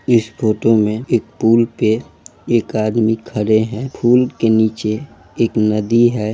इस photo में एक पुल पे एक आदमी खड़े हैं पुल के नीचे एक नदी है।